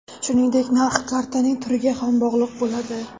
Shuningdek narx kartaning turiga ham bog‘liq bo‘ladi .